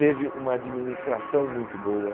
Teve uma administração muito boa.